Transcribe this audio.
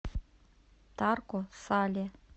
тарко сале